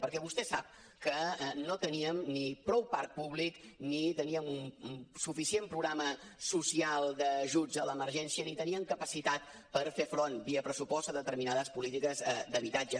perquè vostè sap que no teníem ni prou parc públic ni teníem suficient programa social d’ajuts a l’emergència ni teníem capacitat per fer front via pressupost a determinades polítiques d’habitatge